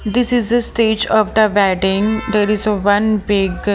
this is a stage of the wedding there is a one big --